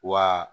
Wa